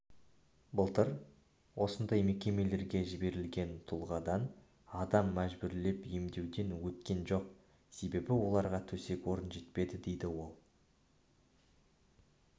былтыр осындай мекемелерге жіберілген тұлғадан адам мәжбүрлеп емдеуден өткен жоқ себебі оларға төсек-орын жетпеді деді ол